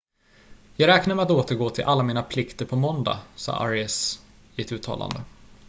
"""jag räknar med att återgå till alla mina plikter på måndag" sade arias i ett uttalande.